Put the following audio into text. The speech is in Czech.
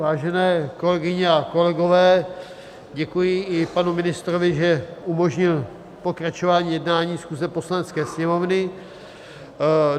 Vážené kolegyně a kolegové, děkuji i panu ministrovi, že umožnil pokračování jednání schůze Poslanecké sněmovny.